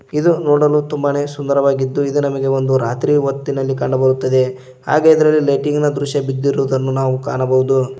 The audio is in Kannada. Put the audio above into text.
ಇದು ನೋಡಲು ತುಂಬಾನೇ ಸುಂದರವಾಗಿದ್ದು ಇದು ನಮಗೆ ಒಂದು ರಾತ್ರಿ ಹೊತ್ತಿನಲ್ಲಿ ಕಂಡುಬರುತ್ತದೆ ಹಾಗೆ ಎದ್ರಲಿ ಲೈಟಿಂಗ್ ನ ದೃಶ್ಯ ಬಿದ್ದಿರುವುದನ್ನು ಕಾಣಬಹುದು.